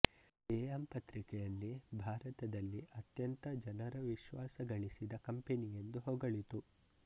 am ಪತ್ರಿಕೆಯಲ್ಲಿ ಭಾರತದಲ್ಲಿ ಅತ್ಯಂತ ಜನರ ವಿಶ್ವಾಸಗಳಿಸಿದ ಕಂಪನಿಯೆಂದು ಹೊಗಳಿತು